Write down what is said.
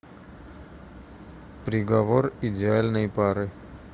приговор идеальной пары